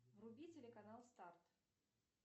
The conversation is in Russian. вруби телеканал старт